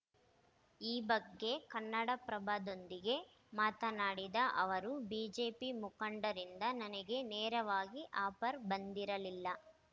ಈ ಬಗ್ಗೆ ಕನ್ನಡಪ್ರಭದೊಂದಿಗೆ ಮಾತನಾಡಿದ ಅವರು ಬಿಜೆಪಿ ಮುಖಂಡರಿಂದ ನನಗೆ ನೇರವಾಗಿ ಆಫರ್‌ ಬಂದಿರಲಿಲ್ಲ